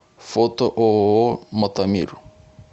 фото ооо мотомир